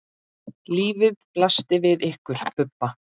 Lífið blasti við ykkur Bubba.